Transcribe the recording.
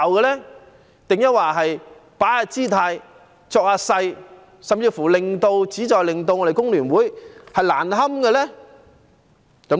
抑或有人只是擺擺姿態、裝模作樣，甚至旨在令工聯會難堪呢？